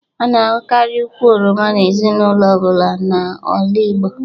A na ahukari ụkwụ oroma n'ezinaulo ọbụla n'ala Igbo